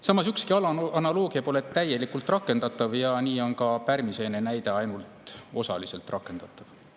Samas, ükski analoogia pole täielikult rakendatav ja nii on ka pärmiseene näide ainult osaliselt rakendatav.